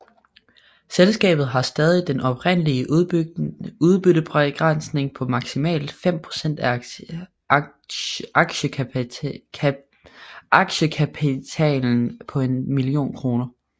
Selskabet har stadig den oprindelige udbyttebegrænsning på maksimalt fem procent af aktiekapitalen på en million kroner